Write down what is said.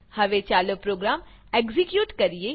હવે ચાલો program execute કરીએ